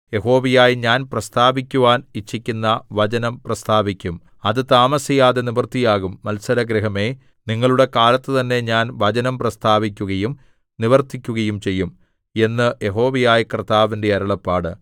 യഹോവയായ ഞാൻ പ്രസ്താവിക്കുവാൻ ഇച്ഛിക്കുന്ന വചനം പ്രസ്താവിക്കും അത് താമസിയാതെ നിവൃത്തിയാകും മത്സരഗൃഹമേ നിങ്ങളുടെ കാലത്ത് തന്നെ ഞാൻ വചനം പ്രസ്താവിക്കുകയും നിവർത്തിക്കുകയും ചെയ്യും എന്ന് യഹോവയായ കർത്താവിന്റെ അരുളപ്പാട്